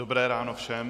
Dobré ráno všem.